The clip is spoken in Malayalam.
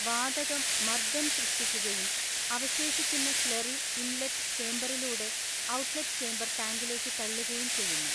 വാതകം മർദ്ദം സൃഷ്ടിക്കുകയും അവശേഷിക്കുന്ന സ്ലറി ഇൻലെറ്റ് ചേമ്പറിലൂടെ ഔട്ട്ലെറ്റ് ചേംബർ ടാങ്കിലേക്ക് തള്ളുകയും ചെയ്യുന്നു.